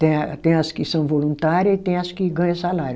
Tem a, tem as que são voluntária e tem as que ganha salário.